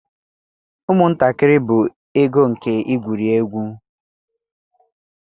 Ụmụntakịrị bụ ego nke igwuri egwu.